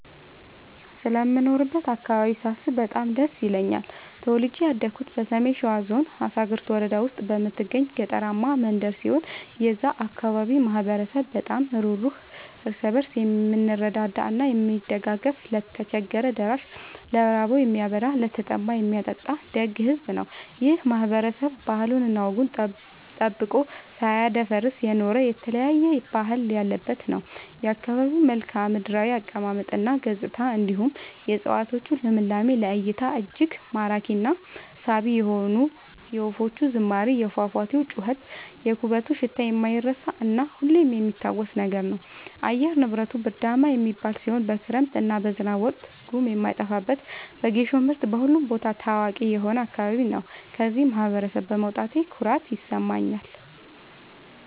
ስለምኖርበት አካባቢ ሳስብ በጣም ደስ ይለኛል። ተወልጄ ያደኩት በሰሜን ሸዋ ዞን አሳግርት ወረዳ ውስጥ በምትገኝ ገጠራማ መንደር ሲሆን የዛ አካባቢ ማህበረሰብ በጣም ሩህሩህ ÷ እርስ በርሱ የምረዳዳ እና የሚደጋገፍ ለቸገረው ደራሽ ÷ ለራበው የሚያበላ ÷ለተጠማ የሚያጠጣ ደግ ሕዝብ ነው። ይህ ማህበረሰብ ባህሉን እና ወጉን ጠብቆ ሳያስደፍር የኖረ የተለያየ ባህል ያለበት ነው። የአካባቢው መልከዓምድራው አቀማመጥ እና ገጽታ እንዲሁም የ እፀዋቶቹ ልምላሜ ለ እይታ እጅግ ማራኪ እና ሳቢ የሆነ የወፎቹ ዝማሬ የፏፏቴው ጩኸት የኩበቱ ሽታ የማይረሳ እና ሁሌም የሚታወስ ነገር ነው። አየር ንብረቱ ብርዳማ የሚባል ሲሆን በክረምት እና በዝናብ ወቅት ጉም የማይጠፋበት በጌሾ ምርት በሁሉም ቦታ ታዋቂ የሆነ አካባቢ ነው። ከዚህ ማህበረሰብ በመውጣቴ ኩራት ይሰማኛል።